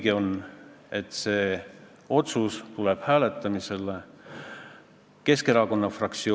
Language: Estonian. See oli ehk küsimuste-vastuste voorus, kus millegipärast üllataval kombel sinult, hea Toomas, ei tulnud mitte ühtegi küsimust ja ei tulnud ka Jaanus Marrandilt.